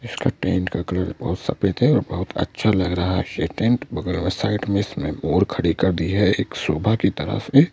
इसका टेंट का कलर बहुत सफेद है और बहुत अच्छा लग रहा है ये टेंट बगल में साइड में इसमें बोर खड़ी कर दी है एक शोभा की तरह से--